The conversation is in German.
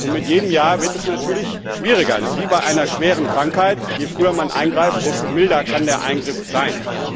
Und mit jedem Jahr wird es natürlich schwieriger. Das ist wie bei einer schweren Krankheit, je früher man eingreift, desto milder kann der Eingriff sein.